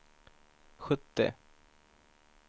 sjuttio